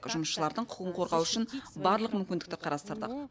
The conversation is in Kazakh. жұмысшылардың құқығын қорғау үшін барлық мүмкіндікті қарастырдық